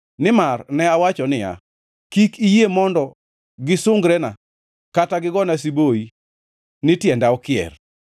Nimar ne awacho niya, “Kik iyie mondo gisungrena, kata gigona siboi ni tienda okier.”